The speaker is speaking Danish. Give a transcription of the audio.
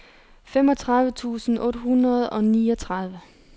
femogtredive tusind otte hundrede og niogtredive